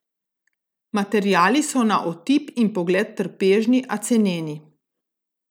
Materiali so na otip in pogled trpežni, a ceneni.